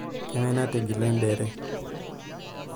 kangae natigila endere